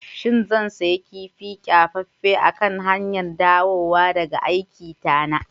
shin zan sayi kifi kyafaffen a kan hanyara ta dawowa daga aikiita na